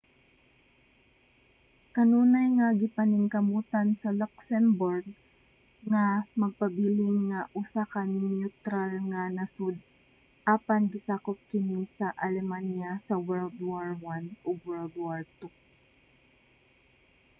kanunay nga gipaningkamutan sa luxembourg nga magpabilin nga usa ka neutral nga nasud apan gisakop kini sa alemanya sa world war i ug world war ii